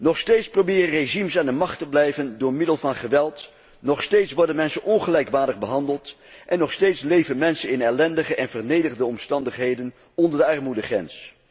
Nog steeds proberen regimes aan de macht te blijven door middel van geweld, nog steeds worden mensen ongelijkwaardig behandeld en nog steeds leven mensen in ellendige en vernederende omstandigheden onder de armoedegrens.